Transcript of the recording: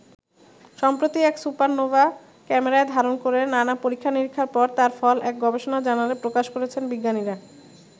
সম্প্রতি এক সুপারনোভা ক্যামেরায় ধারণ করে নানা-পরীক্ষা নিরীক্ষার পর তার ফল এক গবেষণা জার্নালে প্রকাশ করেছেন বিজ্ঞানীরা।